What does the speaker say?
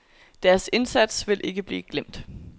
Deres indsats vil ikke blive glemt.